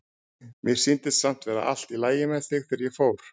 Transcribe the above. Mér sýndist samt vera allt í lagi með þig þegar ég fór.